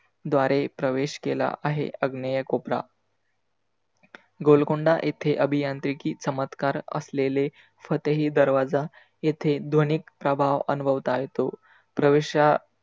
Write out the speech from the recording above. द्वारे प्रवेश केला आहे अग्नेय कोपरा गोलकोंडा येथे आभीयांत्रीकी चमत्कार आसलेले फतेही दर्वाजा येथे ध्वनीक प्रभाव आनुभवता येतो. प्रवेशा